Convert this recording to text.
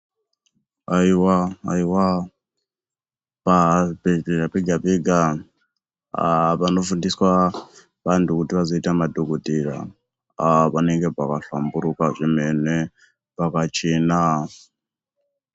Aiwa aiwa pachibhedhlera pega pega panofundiswa vantu kuti vazoita madhokodheya panenge pakahlamburuka zvemene pakachena.